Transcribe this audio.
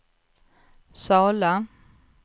Sala